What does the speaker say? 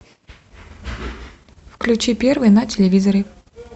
включи первый на телевизоре